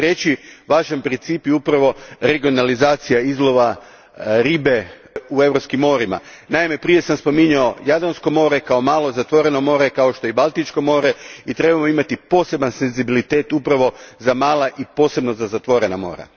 Treći važan princip upravo je regionalizacija izlova ribe u europskim morima. Naime, prije sam spominjao Jadransko more kao malo, zatvoreno more, kao što je i Baltičko more, i trebamo imati posebni senzibilitet za mala i posebno za zatvorena mora.